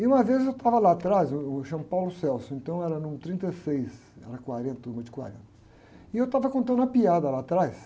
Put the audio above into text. E uma vez eu estava lá atrás, eu, eu chamo, então era número trinte e seis, era quarenta, turma de quarenta, e eu estava contando uma piada lá atrás.